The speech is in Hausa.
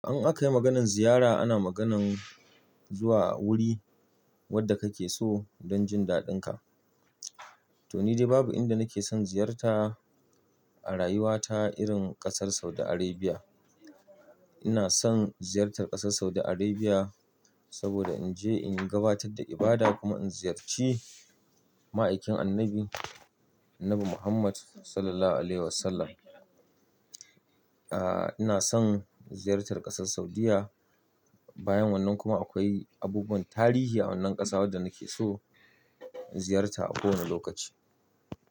In aka yi maganar ziyara, ana maganar zuwa wuri wanda kake so don jin daɗin ka. To ni dai babu inda nake son ziyarta a rayuwa ta irin ƙasar Saudi Arabia. Ina son ziyartar ƙasar Saudi Arabia saboda in je in gabatar da ibada kuma in ziyarci ma'aikin annabi, Annabi Muhammad Sallallahu Alaihi Wasallam. Ah, ina son ziyartar ƙasar Saudiyya. Bayan wannan kuma akwai abubuwan tarihi a wannan ƙasa wadda nake so in ziyarta a kowane lokaci.